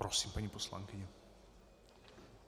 Prosím, paní poslankyně.